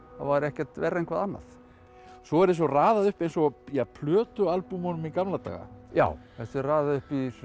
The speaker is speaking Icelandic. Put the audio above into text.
var ekkert verra en hvað annað svo er þessu raðað upp eins og í gamla daga já þessu er raðað upp